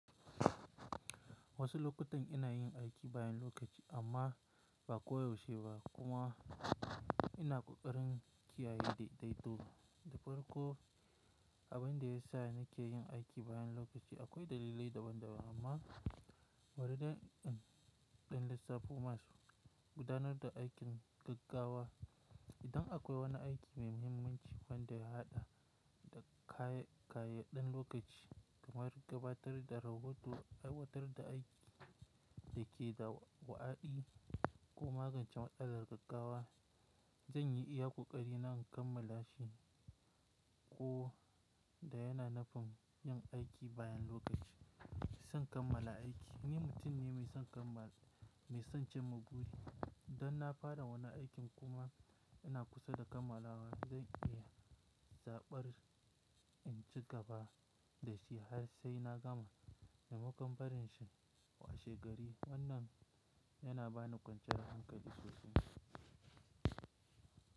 Wasu lokutan ina yin aiki bayan lokaci amma ba koyaushe ba kuma ina ƙoƙarin kiyaye daidaito. Dafarko abin da ya sa nake yin aiki bayan lokaci akwai dalilai daban-daban amma wani ɗan, ɗan lissafi masu gudanar da aikin gaggawa. Idan akwai wani aiki mai mahimmanci wanda ya haɗa da kayayyaden lokaci kamar gabatar da rahoto, aiwatar da aiki da ke da wa'aɗi ko magance matsala gaggawa, zan yi iyakoƙari na kammala shi ko da yana nafin yin aiki bayan lokaci. San kammala aiki. Ni mutum ne mai son kammala, mai son cimma guri. Idan na fara wani aikin kuma ina kusa da kammalawa, zan yi iya zaɓar in ci gaba da shi har sai na gama. Memakon barin shi washe gari. Wannan yana bani kwanciyar hankali sosai.